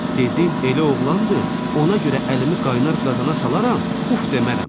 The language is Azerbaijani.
Dedi: elə oğlandı, ona görə əlimi qaynar qazana salaram, uf demərəm.